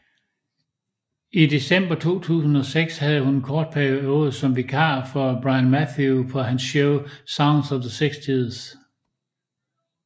I december 2006 havde hun en kort periode som vikar for Brian Matthew på hans show Sounds of the 60s